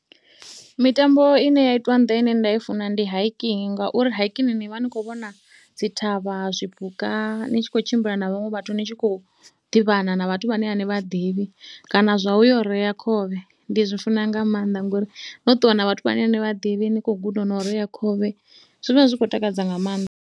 Mitambo i ne ya itwa nga nḓila ine nda i funesa ndi hiking ngauri hiking ni vha ni khou vhona dzi thavha, zwipuka ni tshi khou tshimbila na vhaṅwe vhathu, ni tshi khou ḓivhana na vhathu vhane a ni vha ḓivhi kana zwa u yo u rea khovhe. Ndi zwi funa nga maanḓa ngori no ṱuwa na vhathu vhane a ni vha ḓivhi ni khou guda no u rea khovhe zwi vha zwi khou takadza nga maanḓa.